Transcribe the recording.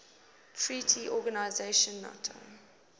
treaty organization nato